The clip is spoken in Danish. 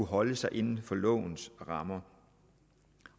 holder sig inden for lovens rammer